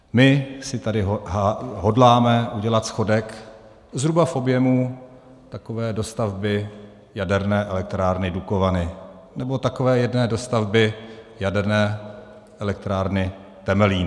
My si tady hodláme udělat schodek zhruba v objemu takové dostavby jaderné elektrárny Dukovany nebo takové jedné dostavby jaderné elektrárny Temelín.